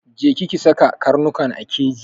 Je ki ki saka karnukan a keji!